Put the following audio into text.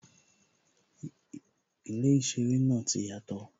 Ilé īseré náà ti yàtò